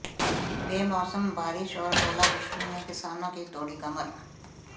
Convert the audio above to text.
बेमौसम बारिश और ओलावृष्टि ने किसानों की तोड़ी कमर